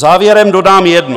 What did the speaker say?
Závěrem dodám jedno.